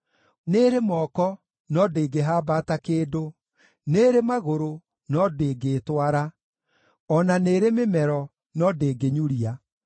nĩĩrĩ moko, no ndĩngĩhambata kĩndũ, nĩĩrĩ magũrũ, no ndĩngĩĩtwara; o na nĩĩrĩ mĩmero, no ndĩngĩnyuria.